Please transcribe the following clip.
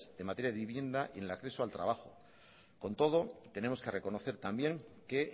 en materia de vivienda y en el acceso al trabajo con todo tenemos que reconocer también que